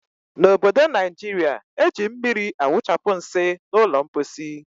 N' obodo Naijiria, eji mmiri awụchapụ nsị n' ụlọ mposi.